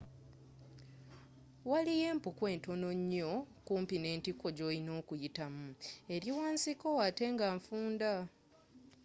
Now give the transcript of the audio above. waliyo empuku entono nyo kumpi n'entikko gyolina okuyitamu eri wansi ko atte nga nfunda